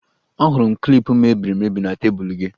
Ahụrụ m klip mebiri emebi na tebụl gị